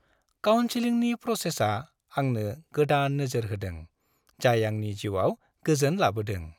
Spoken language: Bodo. काउनसिलिं प्रसेसआ आंनो गोदान नोजोर होदों जाय आंनि जिउआव गोजोन लाबोदों।